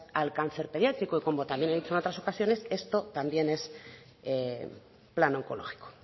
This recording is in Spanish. al cáncer pediátrico y como también he dicho en otras ocasiones esto también es plan oncológico